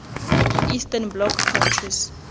eastern bloc countries